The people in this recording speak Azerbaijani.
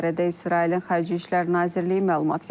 Bu barədə İsrailin Xarici İşlər Nazirliyi məlumat yayıb.